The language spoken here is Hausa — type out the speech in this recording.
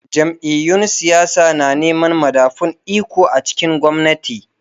Jam’iyyun siyasa na neman madafun iko a cikin gwamnati.